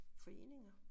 Foreninger